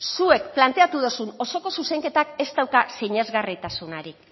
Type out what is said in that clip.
zuek planteatu dozun osoko zuzenketak ez dauka sinesgarritasunarik